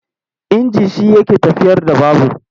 Inji shi yake tafiyar da babur.